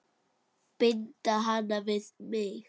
Binda hana við mig.